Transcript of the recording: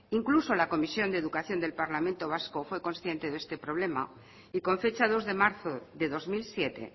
incluso la comisión de educación del parlamento vasco fue consciente de este problema y con fecha dos de marzo de dos mil siete